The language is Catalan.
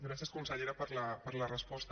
gràcies consellera per la resposta